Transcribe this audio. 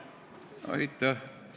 Aitäh!